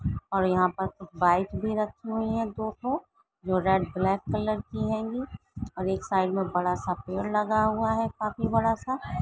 और यहाँ पर बाइक भी रखी हुई है दो-दो जो रेड ब्लैक कलर की हेंगीं और एक साइड मे बड़ा सा पेड़ लगा हुआ है काफी बड़ा सा।